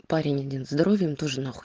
парень один здоровьем тоже нахуй